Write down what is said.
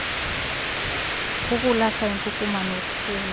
ukulahla inkukuma nokhula